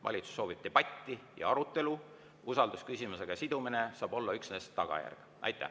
Valitsus soovib debatti ja arutelu, usaldusküsimusega sidumine saab olla üksnes tagajärg.